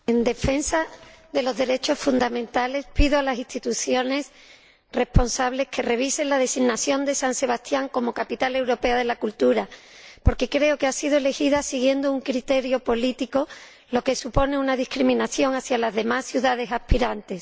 Señor Presidente, en defensa de los derechos fundamentales, pido a las instituciones responsables que revisen la designación de San Sebastián como Capital Europea de la Cultura, porque creo que ha sido elegida siguiendo un criterio político, lo que supone una discriminación hacia las demás ciudades aspirantes.